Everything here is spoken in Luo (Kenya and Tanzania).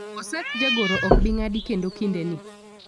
osach jagoro ok bii ng'adi kendo kinde ni